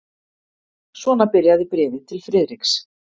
Svona byrjaði bréfið til Friðriks.